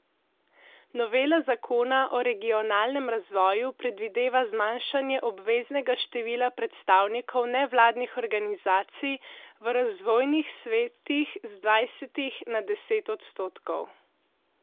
Novela zakona o regionalnem razvoju predvideva zmanjšanje obveznega števila predstavnikov nevladnih organizacij v razvojnih svetih z dvajsetih na deset odstotkov.